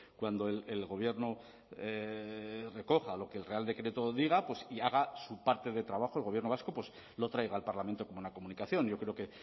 cuando el gobierno recoja lo que el real decreto diga y haga su parte de trabajo el gobierno vasco lo traiga al parlamento como una comunicación yo creo que